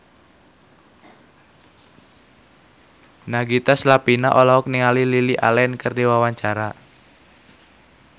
Nagita Slavina olohok ningali Lily Allen keur diwawancara